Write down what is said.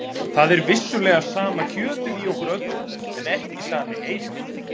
Það er vissulega sama kjötið í okkur öllum en ekki sami heili.